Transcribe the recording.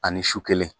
Ani su kelen